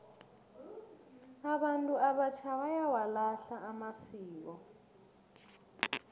abantu abatjha bayawalahla amasiko